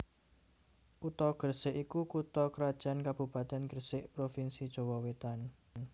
Kutha Gresik iku kutha krajan kabupatèn Gresik provinsi Jawa Wetan